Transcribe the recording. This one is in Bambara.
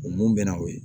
O mun bɛ na o ye